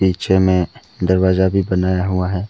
पीछे में दरवाजा भी बनाया हुआ है।